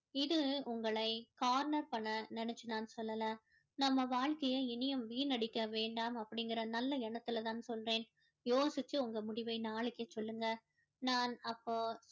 இது உங்களை corner பண்ண நினைச்சு நான் சொல்லல நம்ம வாழ்க்கையை இனியும் வீணடிக்க வேண்டாம் அப்படிங்கற நல்ல எண்ணத்துல தான் சொல்றேன் யோசிச்சு உங்க முடிவை நாளைக்கு சொல்லுங்க நான் அப்போ